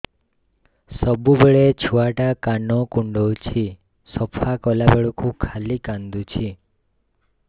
ସବୁବେଳେ ଛୁଆ ଟା କାନ କୁଣ୍ଡଉଚି ସଫା କଲା ବେଳକୁ ଖାଲି କାନ୍ଦୁଚି